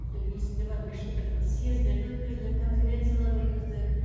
әйтеуір есімде бар неше түрлі бір съездерді өткіздік конференциялар өткіздік